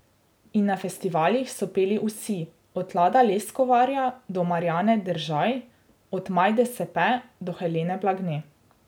In na festivalih so peli vsi, od Lada Leskovarja do Marjane Deržaj, od Majde Sepe do Helene Blagne.